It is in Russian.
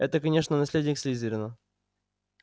это конечно наследник слизерина